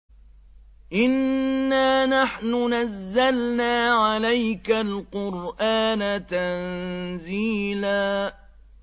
إِنَّا نَحْنُ نَزَّلْنَا عَلَيْكَ الْقُرْآنَ تَنزِيلًا